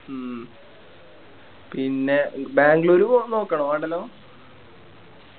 ഉം പിന്നെ ബാംഗ്ലൂര് പോവാൻ നോക്കണോ വേണ്ടല്ലോ